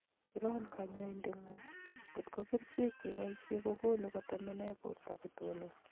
Iron kanyaindet ngu�ng kotko kerchek cheiboishe kokonu kotemenee borto kotonon